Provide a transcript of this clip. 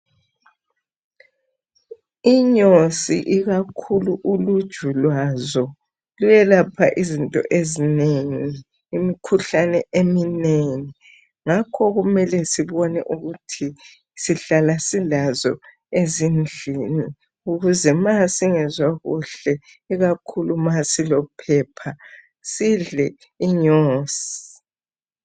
Uluju lwenyosi luyayelapha izifo ezinengi imikhuhlane eminengi ngakho kumele sibone ukuthi sihlala silazo ezindlini ukuze ma singezwa luhle ikakhulu nxa silophepha sidle inyosi